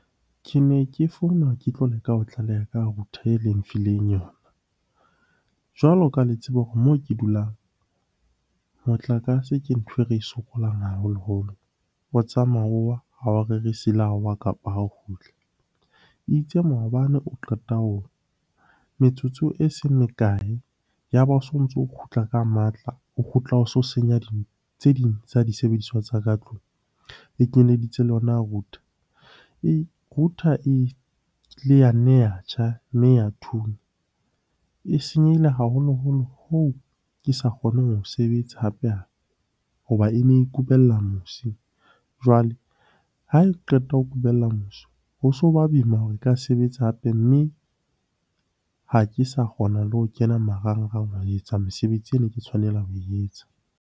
Ke ne ke founa, ke tlo leka ho tlaleha ka router e le nfileng yona. Jwalo ka ha le tseba hore moo ke dulang, motlakase ke ntho e re e sokolang haholoholo. O tsamaya o wa, ha o rerise le ha o wa kapa ha o kgutla. Itse maobane o qeta ho wa, metsotso e seng mekae ya ba o sontso o kgutla ka matla. O kgutla o so senya tse ding tsa disebediswa tsa ka tlung, e kenyeditse le yona router. Router e ya nne ya tjha, mme ya thunya. E senyehile haholoholo hoo ke sa kgoneng ho sebetsa hape-hape hoba e ne e kubela mosi. Jwale ha e qeta ho kubella mosi, ho so ba boima hore e ka sebetsa hape mme ha ke sa kgona le ho kena marangrang ho etsa mesebetsi e ne ke tshwanela ho e etsa.